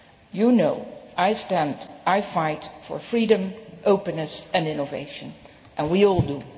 You know that I stand and I fight for freedom, openness and innovation, as we all